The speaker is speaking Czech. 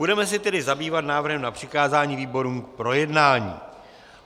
Budeme se tedy zabývat návrhem na přikázání výborům k projednání.